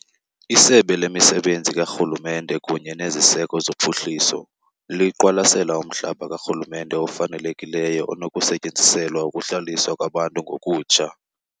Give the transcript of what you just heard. ISebe lemiSebenzi kaRhulumente kunye neZiseko zoPhuhliso liqwalasela umhlaba karhulumente ofanelekileyo onokusetyenziselwa ukuhlaliswa kwabantu ngokutsha.